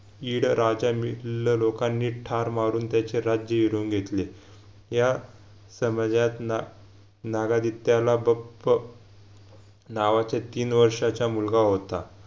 यिड राजा मिल्ल लोकांनी ठार मारून त्याचे राज्य हिरावून घेतले या समाजात ना नागदित्याला बप्प नावाचे तीन वर्षाचा मुलगा होता